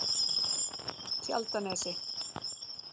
Tjaldanesi